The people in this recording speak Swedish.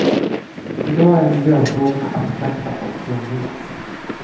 I dag är miljöfrågorna abstrakta och krångliga.